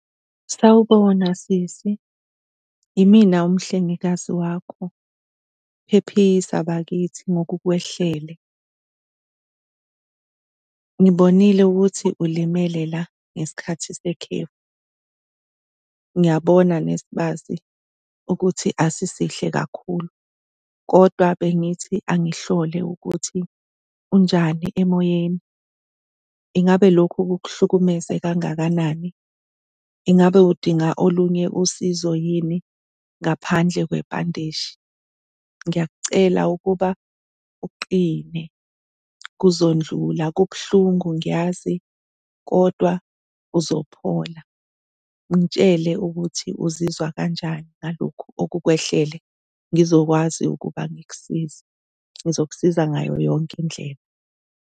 Sawubona, sisi. Yimina umhlengikazi wakho, phephisa bakithi ngokukwehlele. Ngibonile ukuthi ulimele la ngesikhathi sekhefu. Ngiyabona nesibazi ukuthi asisihle kakhulu kodwa bengithi angihlole ukuthi unjani emoyeni, ingabe lokhu kukuhlukumeze kangakanani? Ingabe udinga olunye usizo yini ngaphandle kwebhandishi? Ngiyakucela ukuba uqine, kuzondlula. Kubuhlungu ngiyazi kodwa uzophola. Ngitshele ukuthi uzizwa kanjani ngalokhu okukwehlele ngizokwazi ukuba ngikusize, ngizokusiza ngayo yonke indlela.